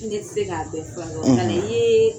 I ne tɛ se k'a bɛ fura kɛw; i nana i yeee